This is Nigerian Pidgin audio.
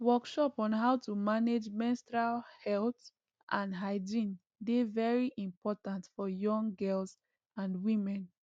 workshop on how to manage menstrual health and hygiene dey very important for young girls and women